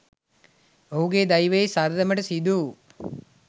ඔහුගේ දෛවයේ සරදමට සිදුවූ